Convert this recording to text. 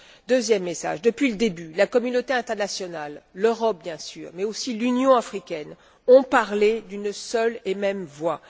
Deuxième message depuis le début, la communauté internationale, l'Europe bien sûr, mais aussi l'Union africaine, ont parlé d'une seule et même voix.